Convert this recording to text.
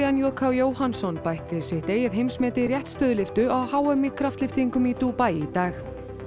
j k Jóhannsson bætti sitt eigið heimsmet í réttstöðulyftu á h m í kraftlyftingum í Dúbaí í dag